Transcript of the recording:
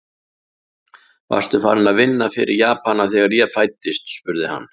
Varstu farinn að vinna fyrir Japanana, þegar ég fæddist? spurði hann.